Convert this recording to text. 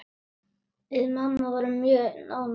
Við mamma vorum mjög nánar.